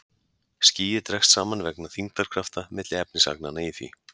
Skýið dregst saman vegna þyngdarkrafta milli efnisagnanna í því.